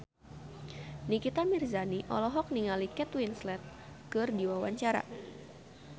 Nikita Mirzani olohok ningali Kate Winslet keur diwawancara